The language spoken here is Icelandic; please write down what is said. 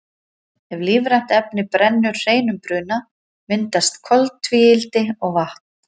ef lífrænt efni brennur hreinum bruna myndast koltvíildi og vatn